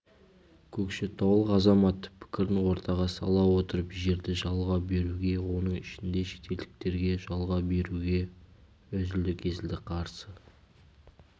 көкшетаулық азамат пікірін ортаға сала отырып жерді жалға беруге оның ішінде шетелдіктерге жалға беруге үзілді-кесілді қарсы